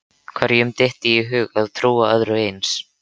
Hverjum dytti í hug að trúa öðru eins?